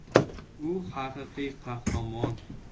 U haqiqiy qahramon”.